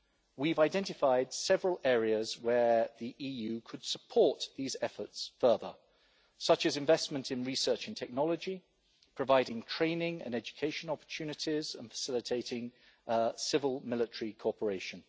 We've identified several areas where the EU could support these efforts further, such as investment in research and technology, providing training and education opportunities and facilitating civil-military cooperation.